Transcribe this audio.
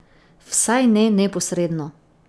Vsaj ne neposredno.